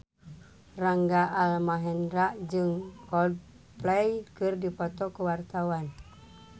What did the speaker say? Rangga Almahendra jeung Coldplay keur dipoto ku wartawan